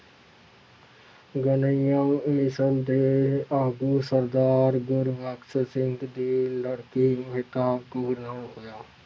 ਘਨੱਈਆ ਮਿਸ਼ਲ ਦੇ ਆਗੂ ਸਰਦਾਰ ਗੁਰਬਖ਼ਸ ਸਿੰਘ ਦੀ ਲੜਕੀ ਮਹਿਤਾਬ ਕੌਰ ਨਾਲ ਹੋਇਆ।